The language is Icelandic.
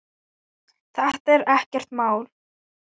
Þetta er ekkert mál!